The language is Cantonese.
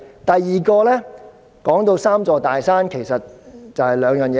第二，"三座大山"其實就是關乎兩件事。